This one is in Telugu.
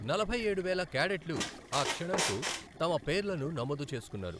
నలభై ఏడు వేల కాడెట్లు ఆ క్షణంకు తమ పేర్లను నమోదు చేసుకున్నారు.